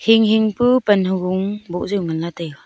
hing hing pu pan hugun bok taiga.